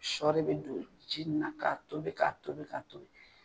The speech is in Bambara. Shɔ re bɛ don ji nin na k'a tobi k'a tobi k'a tobi.